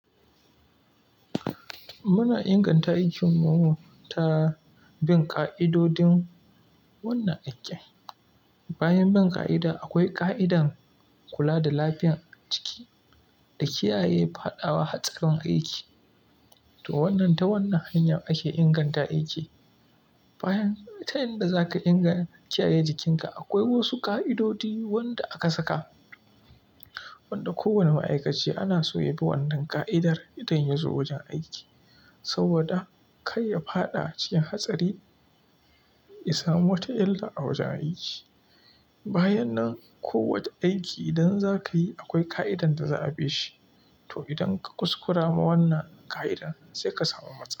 Muna inganta aikinmu ta bin ƙa'idodin wannan aikin. Bayan bin ƙa'ida, akwai ƙa'idar kula da lafiyar jiki da kiyaye fadawa hatsarin aiki. To wannan, ta wannan hanya ake inganta aiki. Bayan, ta yanda za ka ingan kiyaye jikinka, akwai wasu ƙa'idodi wanda aka saka, wanda kowane ma'aikaci ana so ya bi wannan ƙa'idar idan ya zo wajen aiki. Saboda kai ya faɗa cikin hatsari, ya samu wata illa a wajen aiki. Bayan nan, kowace aiki idan za ka yi akwai ƙa'idar da za a bi shi. To idan ka kuskura ma wannan ƙa'idar, sai ka samu matsala.